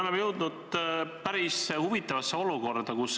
Me oleme jõudnud päris huvitavasse olukorda.